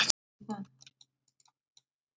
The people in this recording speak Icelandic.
Það var alvöru bros.